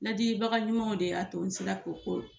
Ladilibaga ɲumanw de y'a to n sera k'o ko